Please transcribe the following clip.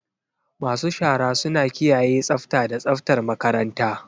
Masu shara suna kiyaye tsafta da tsaftar makaranta.